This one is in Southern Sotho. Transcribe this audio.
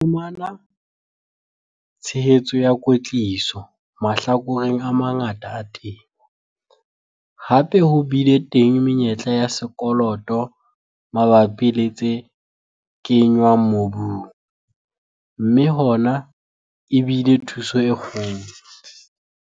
Ra fumana tshehetso ya kwetliso mahlakoreng a mangata a temo. Hape ho bile teng menyetla ya sekoloto mabapi le tse kenngwang mobung, mme hona e bile thuso e kgolo.